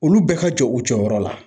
Olu bɛɛ ka jɔ u jɔyɔrɔ la.